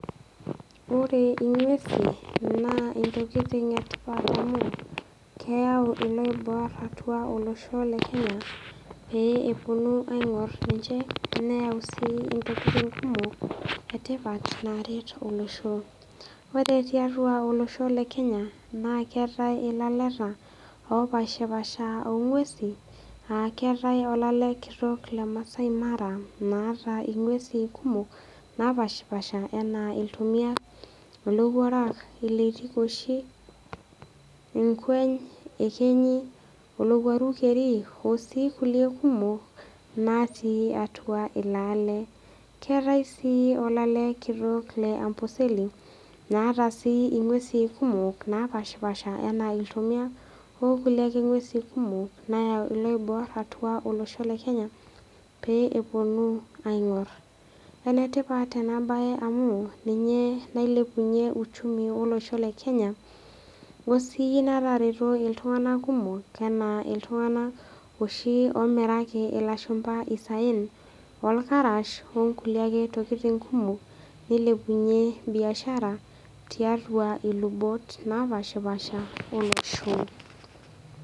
Ore eng'usi naa ntokitin etipat oleng amu keyau eloibor olosho le Kenya pee epuonu aing'or ninje neyau sii ntokitin kumok etipat naretu olosho ore tiatua olosho lee Kenya naa ketae elaleta opashi pasha oo ngul'uesi naa keetae olale kitok lee maasai mara naata ng'uesi kumok napashipasha enaa ilntomia elowuarak eloitikoshi enkweny eyekenyi olowuaru keri Osiidu kulie kumok natii atua elo ale keetae sii olale kitok lee amboseli naata sii eng'usi kumok napashipasha ena ilntomia okulie ng'uesi kumok nayau eloibor atua olosho le Kenya pee epuonu aing'or enetipat ena mbae amu ninye nailepunye uchumi olesho le Kenya osi netaretuo iltung'ana kumok ena iltung'ana oshi omiraki ilashumba esaen orkarash onkulie tokitin ake kumok nailepunye biashara tiatua lubot napashipasha olosho